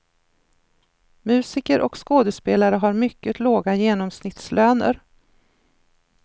Musiker och skådespelare har mycket låga genomsnittslöner.